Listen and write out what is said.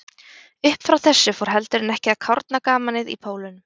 Uppfrá þessu fór heldur en ekki að kárna gamanið í Pólunum.